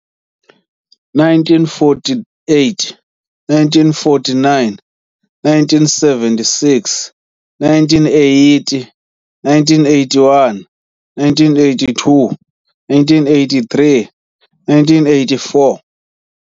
- 1948 - 1949 - 1976 - 1980 - 1981 - 1982 - 1983 - 1984